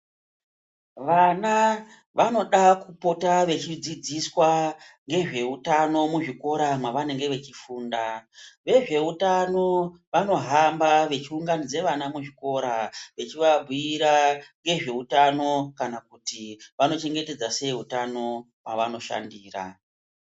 Vana vanoda kupota vechi dzidziswa ngezveutano mu zvikora mavanenge vechifunda . Vezveutano vanohamba vechiunganidze vana muzvikora vechivabhuira ngezveutano kana kuti vanochengetedza seiutano pavanoshandira.